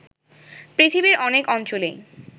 পৃথিবীর অনেক অঞ্চলেই